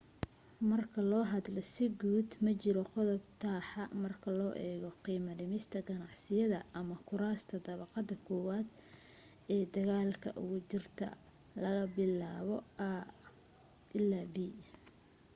marka loo hadlo si guud, ma jiro qodob taxaa marka loo eego qiimo dhimista ganacsiyada ama kuraasta dabaqada kowaad ee dagaalka ugu jirtay laga bilaabo a ilaa b